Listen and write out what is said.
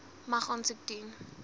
mag aansoek doen